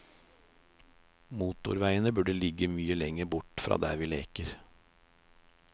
Motorveiene burde ligge mye lenger bort fra der vi leker.